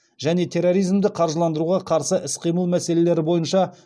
және терроризмді қаржыландыруға қарсы іс қимыл мәселелері бойынша